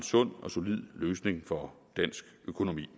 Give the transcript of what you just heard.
sund og solid løsning for dansk økonomi